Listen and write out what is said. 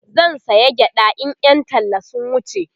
zan saya gyaɗa in Yan talla sun wuce